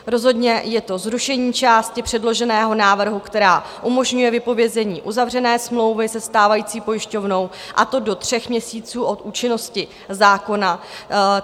Rozhodně je to zrušení části předloženého návrhu, která umožňuje vypovězení uzavřené smlouvy se stávající pojišťovnou, a to do tří měsíců od účinnosti zákona.